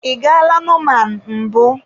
Ị gaala Norman mbụ?